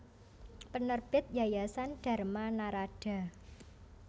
Penerbit Yayasan Dharma Naradha